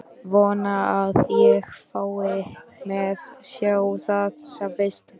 Vona að ég fái að sjá það sem fyrst.